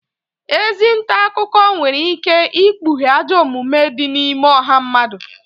Ezi nta akụkọ nwere ike ikpughe ajọ omume di n’ime ọha mmadụ